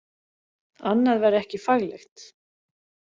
Annað væri ekki faglegt